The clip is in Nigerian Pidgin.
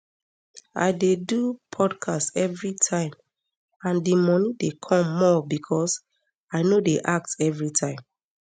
i dey do podcast everitime and di money dey come more becos i no dey act everitime